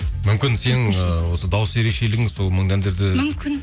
мүмкін сенің ы осы дауыс ерекшелігің сол мұңды әндерді мүмкін